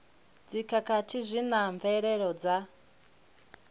dzikhakhathi zwi na mvelelo dza